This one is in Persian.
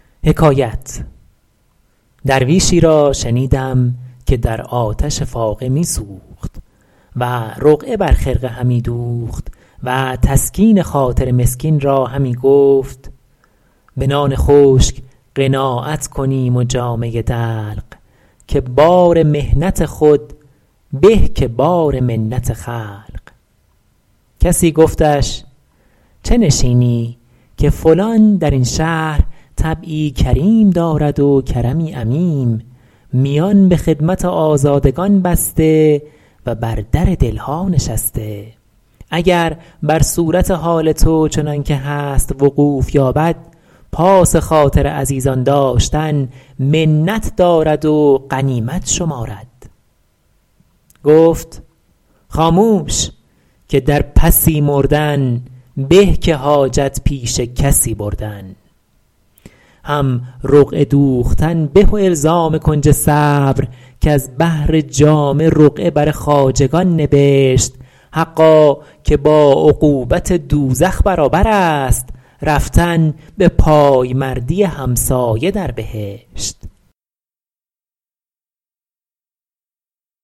درویشی را شنیدم که در آتش فاقه می سوخت و رقعه بر خرقه همی دوخت و تسکین خاطر مسکین را همی گفت به نان خشک قناعت کنیم و جامه دلق که بار محنت خود به که بار منت خلق کسی گفتش چه نشینی که فلان در این شهر طبعی کریم دارد و کرمی عمیم میان به خدمت آزادگان بسته و بر در دل ها نشسته اگر بر صورت حال تو چنان که هست وقوف یابد پاس خاطر عزیزان داشتن منت دارد و غنیمت شمارد گفت خاموش که در پسی مردن به که حاجت پیش کسی بردن هم رقعه دوختن به و الزام کنج صبر کز بهر جامه رقعه بر خواجگان نبشت حقا که با عقوبت دوزخ برابر است رفتن به پایمردی همسایه در بهشت